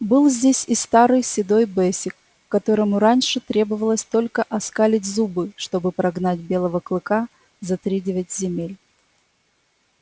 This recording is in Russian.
был здесь и старый седой бэсик которому раньше требовалось только оскалить зубы чтобы прогнать белого клыка за тридевять земель